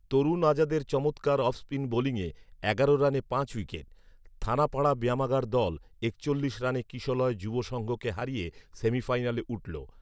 তরুণ আজাদের চমৎকার অফস্পিন বোলিংয়ে এগারো রানে পাঁচ উইকেট থানাপাড়া ব্যায়ামাগার দল একচল্লিশ রানে কিশলয় যুব সংঘকে হারিয়ে সেমিফাইনালে উঠলো